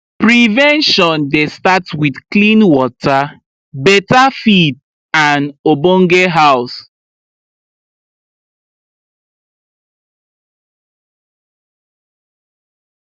prevention dey start with clean water beta feed and obonge house